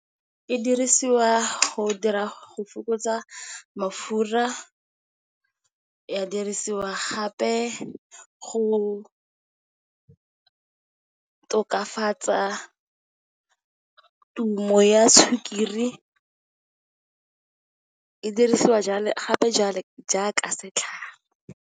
E dirisiwa go fokotsa mafura, ya dirisiwa gape go tokafatsa tumo ya sukiri, e dirisiwa gape jalo jaaka setlhare.